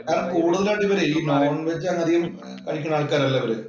എന്നാലും കൂടുതലായിട്ട് ഇവര് ഈ നോണ്‍-വെജ് അങ്ങനെ അധികം കഴിക്കുന്ന ആള്‍ക്കാരല്ല അവര്.